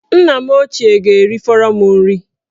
Nna m ochie ga-erifọrọ m nri